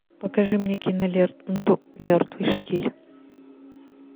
покажи мне киноленту мертвый штиль